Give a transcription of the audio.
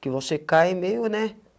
Que você cai meio, né?